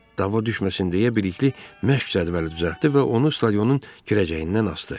Dava düşməsin deyə Bilikli məşq cədvəli düzəltdi və onu stadionun girəcəyindən asdı.